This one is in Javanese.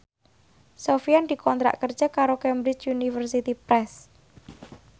Sofyan dikontrak kerja karo Cambridge Universiy Press